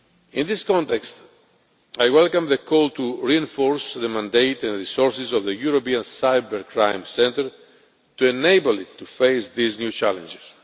In this context, I welcome the call to reinforce the mandate and resources of the European Cybercrime Centre to enable it to face these new challenges.